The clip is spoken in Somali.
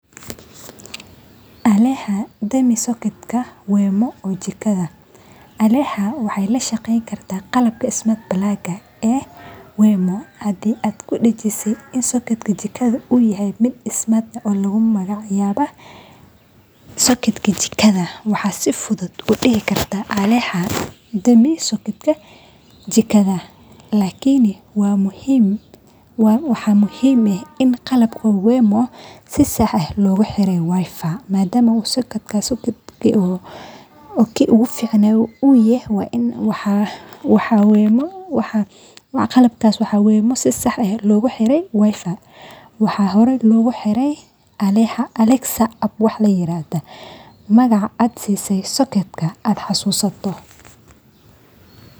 alexa dami sokotka wemo ee jikadha